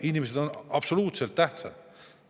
Inimesed on absoluutselt tähtsad.